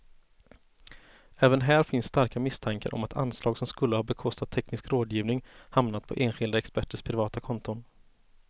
Även här finns starka misstankar om att anslag som skulle ha bekostat teknisk rådgivning hamnat på enskilda experters privata konton.